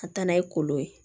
Ka taa n'a ye kolo ye